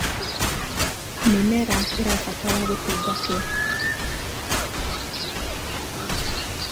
mĩmera ĩrabatara gũtungatwo